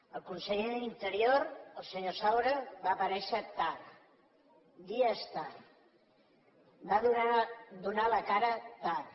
el conseller d’interior el senyor saura va aparèixer tard dies tard va donar la cara tard